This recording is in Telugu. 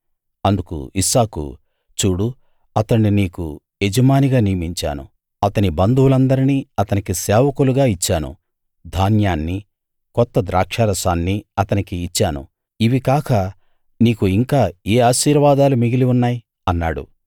అందుకు ఇస్సాకు చూడు అతణ్ణి నీకు యజమానిగా నియమించాను అతని బంధువులందరినీ అతనికి సేవకులుగా ఇచ్చాను ధాన్యాన్నీ కొత్త ద్రాక్షారసాన్నీ అతనకి ఇచ్చాను ఇవి కాక నీకు ఇంకా ఏ ఆశీర్వాదాలు మిగిలి ఉన్నాయి అన్నాడు